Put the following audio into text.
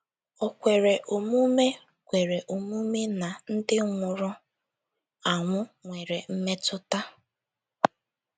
O kwere omume kwere omume na ndị nwụrụ anwụ nwere mmetụta?